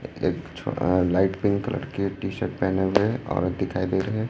अह light pink colour के T shirt पहने हुए औरत दिखाई दे रहे हैं।